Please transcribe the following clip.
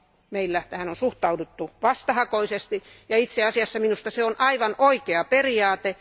Meillä tähän on suhtauduttu vastahakoisesti ja itse asiassa minusta se on aivan oikea periaate.